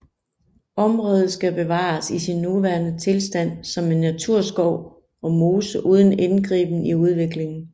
Området skal bevares i sin nuværende tilstand som en naturskov og mose uden indgriben i udviklingen